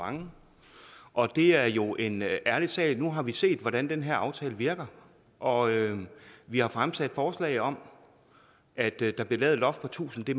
mange og det er jo en ærlig sag nu har vi set hvordan den her aftale virker og vi har fremsat forslag om at der blev lavet et loft på tusind det